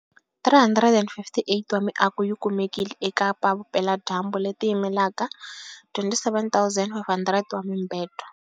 358 wa miako yi kumekile eKapa-Vupeladyambu, leti yimelaka 27 500 wa mibedwa.